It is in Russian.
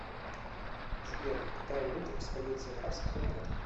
сбер какая валюта используется в арабских эмиратах